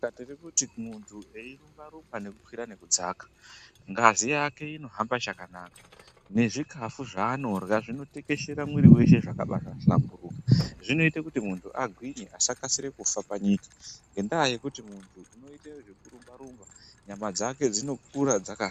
Tirikuti kumuntu eirumba-rumba eikwira nekudzaka, ngazi yake inohamba chakanaka, nezvikafu zvaanorya, zvinotekeshera mwiri weshe zvakabaahlamburuka. Zvinoite kuti muntu agwinye asakasire kufa panyika, ngendaa yekuti muntu unoite zvekurumba-rumba nyama dzake dzinokura dzakasimba.